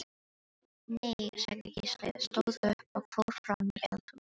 Nei, sagði Gísli, stóð upp og fór fram í eldhús.